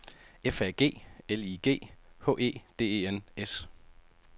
F A G L I G H E D E N S